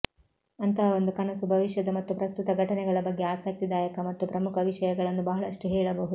ಅಂತಹ ಒಂದು ಕನಸು ಭವಿಷ್ಯದ ಮತ್ತು ಪ್ರಸ್ತುತದ ಘಟನೆಗಳ ಬಗ್ಗೆ ಆಸಕ್ತಿದಾಯಕ ಮತ್ತು ಪ್ರಮುಖ ವಿಷಯಗಳನ್ನು ಬಹಳಷ್ಟು ಹೇಳಬಹುದು